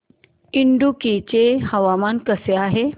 इडुक्की चे हवामान कसे आहे